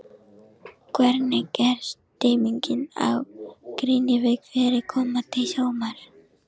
Hvernig er stemmingin á Grenivík fyrir komandi sumar?